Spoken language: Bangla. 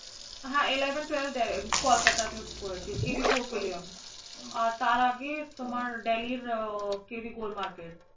হ্য়াঁ eleven twelve Kolkata তে করেছি KV Fort William আর তার আগে তোমার, Delhi র KV Gold Market